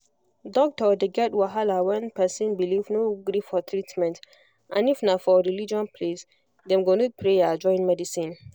doctor dey get wahala when person belief no gree for treatment and if na for religion place dem go need prayer join medicine